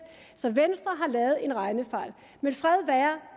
så venstre har lavet en regnefejl men fred være